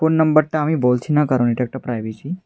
Phone নাম্বারটা আমি বলছি না কারণ এটা একটা প্রাইভেসি ।